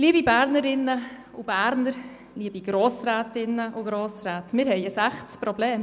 Liebe Bernerinnen und Berner, liebe Grossrätinnen und Grossräte, wir haben ein echtes Problem.